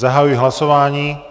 Zahajuji hlasování.